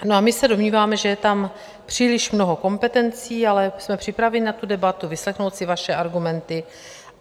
No a my se domníváme, že je tam příliš mnoho kompetencí, ale jsme připraveni na tu debatu, vyslechnout si vaše argumenty.